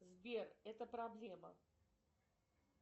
сбер это проблема